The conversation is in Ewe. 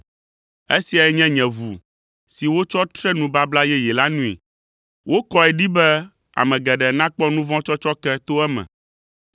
esiae nye nye ʋu si wotsɔ tre nubabla yeye la nui. Wokɔe ɖi be ame geɖe nakpɔ nu vɔ̃ tsɔtsɔke to eme.”